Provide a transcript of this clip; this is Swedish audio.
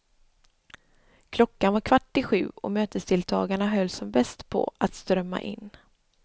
Klockan var kvart i sju och mötesdeltagarna höll som bäst på att strömma in.